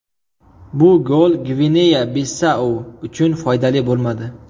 Bu gol Gvineya-Bisau uchun foydali bo‘lmadi.